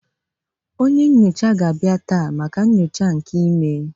Onye nyocha ga-abịa taa maka nyocha nke imee